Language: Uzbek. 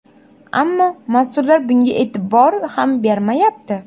Ammo mas’ullar bunga e’tibor ham bermayapti”.